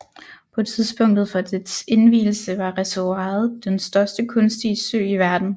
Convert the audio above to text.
På tidspunktet for dets indvielse var reservoiret den største kunstige sø i verden